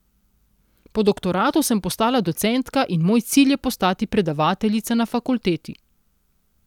Po doktoratu sem postala docentka in moj cilj je postati predavateljica na fakulteti.